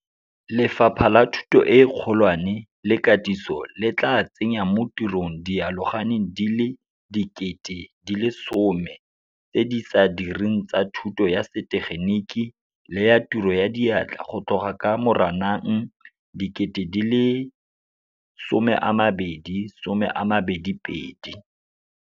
Lefapha la Thuto e Kgolwane le Katiso le tla tsenya mo tirong dialogane di le 10 000 tse di sa direng tsa thuto ya setegeniki le ya tiro ya diatla go tloga ka Moranang 2022.